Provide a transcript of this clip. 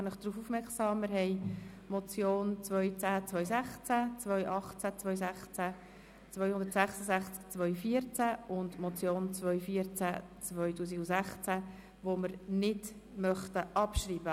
Ich mache Sie darauf aufmerksam, dass wir die Motionen 2010-216, 2018-216, 266-2014 sowie 214-2016 nicht abschreiben möchten.